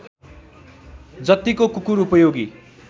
जत्तिको कुकुर उपयोगी